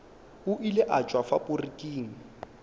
o ile a tšwa faporiking